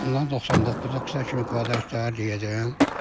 Ondan 99-a kimi kvadrat təyəcəyəm.